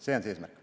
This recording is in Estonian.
See on see eesmärk.